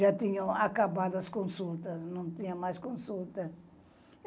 já tinham acabado as consultas, não tinha mais consulta.